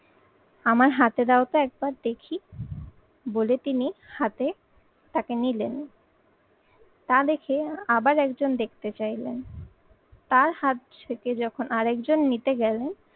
আমার হাতে দাও তো একবার দেখি বলে তিনি হাতে তাকে নিলেন। তা দেখে আবার একজন দেখতে চাইলেন। তার হাত থেকে যখন আরেকজন নিতে গেলেন